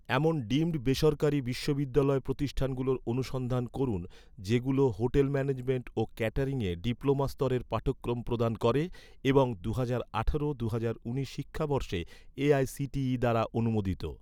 এমন ডিমড বেসরকারি বিশ্ববিদ্যালয় প্রতিষ্ঠানগুলোর অনুসন্ধান করুন, যেগুলো হোটেল ম্যানেজমেন্ট ও ক্যাটারিংয়ে ডিপ্লোমা স্তরের পাঠক্রম প্রদান করে এবং দুহাজার আঠারো দুহাজার উনিশ শিক্ষাবর্ষে এ.আই.সি.টি.ই দ্বারা অনুমোদিত